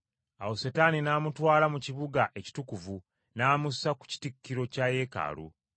Awo Setaani n’amutwala mu kibuga ekitukuvu n’amussa ku kitikkiro kya Yeekaalu.